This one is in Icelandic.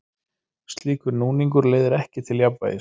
Slíkur snúningur leiðir ekki til jafnvægis.